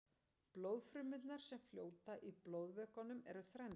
blóðfrumurnar sem fljóta í blóðvökvanum eru þrennskonar